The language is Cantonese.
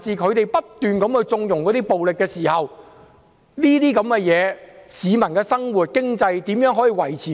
他們不斷縱容暴力，市民的生活和經濟受到影響。